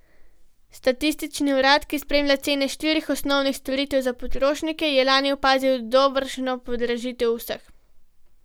Statistični urad, ki spremlja cene štirih osnovnih storitev za potrošnike, je lani opazil dobršno podražitev vseh.